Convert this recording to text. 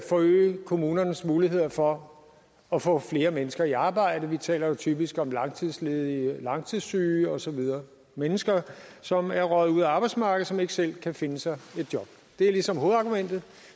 forøge kommunernes muligheder for at få flere mennesker i arbejde vi taler jo typisk om langtidsledige langtidssyge og så videre mennesker som er røget ud af arbejdsmarkedet og som ikke selv kan finde sig et job det er ligesom hovedargumentet